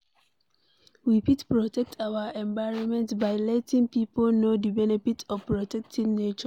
We fit protect our environment by letting pipo know di benefits of protecting nature